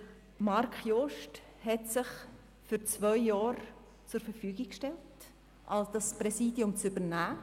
Marc Jost hat sich für zwei Jahre zur Verfügung gestellt, das Präsidium zu übernehmen.